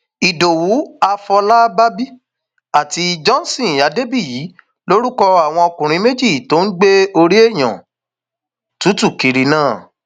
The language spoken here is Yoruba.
ìdòwú afọlábàbí àti johnson adébíyí lorúkọ àwọn ọkùnrin méjì tó ń gbé orí èèyàn tútù kiri náà